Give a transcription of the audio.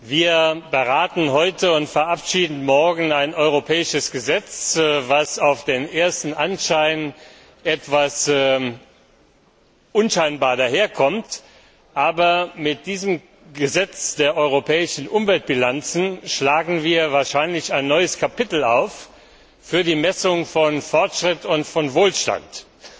Wir beraten heute und verabschieden morgen ein europäisches Gesetz, das dem ersten Anschein nach etwas unscheinbar daherkommt, aber mit diesem Gesetz über die europäischen Umweltbilanzen schlagen wir wahrscheinlich ein neues Kapitel bei der Messung von Fortschritt und Wohlstand auf.